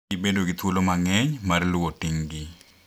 Gibedo gi thuolo mang’eny mar luwo ting’gi .